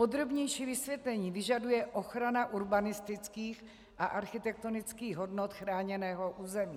Podrobnější vysvětlení vyžaduje ochrana urbanistických a architektonických hodnot chráněného území.